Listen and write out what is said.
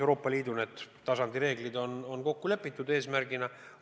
Euroopa Liidu tasandi reeglid on kokku lepitud eesmärgina.